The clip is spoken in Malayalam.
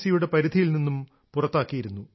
സിയുടെ പരിധിയിൽ നിന്ന് പുറത്തുകൊണ്ടിരുന്നു